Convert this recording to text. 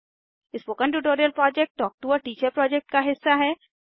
spoken tutorial project talk to a teacher project का हिस्सा है